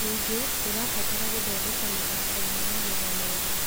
Ningĩ, tũrabatara gũthondeka mathoko ma magetha mega